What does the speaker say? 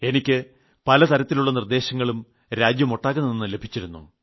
എനിക്ക് പലതരത്തിലുളള നിർദ്ദേശങ്ങളും രാജ്യമൊട്ടാകെ നിന്നും ലഭിച്ചിരുന്നു